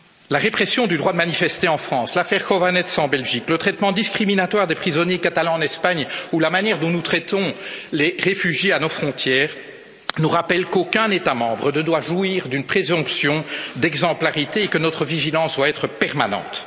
La répression du droit de manifester en France, l'affaire Chovanec en Belgique, le traitement discriminatoire des prisonniers catalans en Espagne ou la manière dont nous traitons les réfugiés à nos frontières, nous rappellent qu'aucun État membre ne doit jouir d'une présomption d'exemplarité et que notre vigilance doit être permanente.